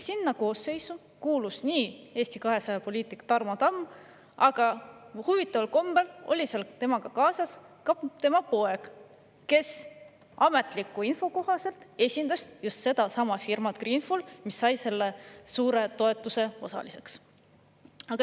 Selle koosseisu kuulus ka Eesti 200 poliitik Tarmo Tamm, aga huvitaval kombel oli seal temaga kaasas tema poeg, kes ametliku info kohaselt esindas just sedasama firmat Greenful, mis sai selle suure toetuse osaliseks.